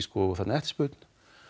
eftirspurn